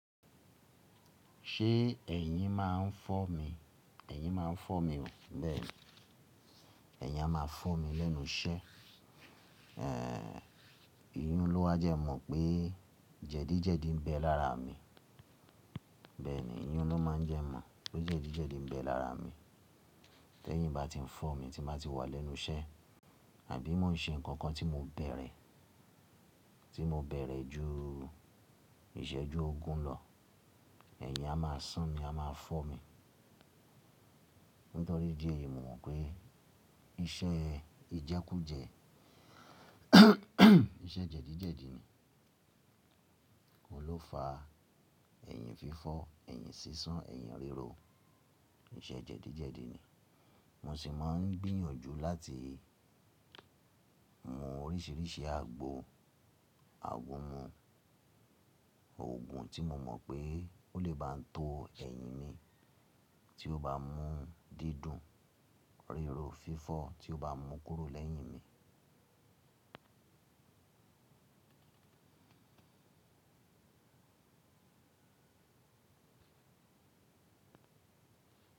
Ṣé ẹ̀yin máa ń fọ́ mi? Ẹ̀yin máa ń fọ́ mi o. Bẹ́ẹ̀ni, ẹ̀yin a máa fọ́ mi lẹ́nu iṣẹ́. Ehn, iyún ló wá jẹ́ mọ̀ pé jẹ̀díjẹ̀dí ń bẹ lára mi. Bẹ́ẹ̀ni, iyún ló máa ń jẹ́ mọ̀ pé jẹ̀díjẹ̀dí ń bẹ lára mi. Tẹ́ ìyín bá ti ń fọ́ mi tí máa ti wà lẹ́nu iṣẹ́, àbí mo ń ṣe nǹkan tí mo bẹ̀rẹ̀, tí mo bẹ̀rẹ̀ ju ìṣẹ́jú ogún lọ, ẹ̀yin á máa sán mi, á máa fọ́ mi. Nítorí dí eyìí mo mọ̀ pé iṣẹ́ ìjẹ́kújẹ iṣẹ́ jẹ̀díjẹ̀dí ni. Oun lófa, ẹ̀yin fífọ́, ẹ̀yin sísán, ẹ̀yin rírò, iṣẹ́ jẹ̀díjẹ̀dí ni. Mo sì máa ń gbíyànjú láti mu oríṣiríṣi àgbo àgúnmu òògùn tí mo mọ̀ pé ó lè bá ń to ẹ̀yin mi tí ó bá mú dídùn, rírò, fífọ́ tí ó bá mú kúrò lẹ́yìn mi.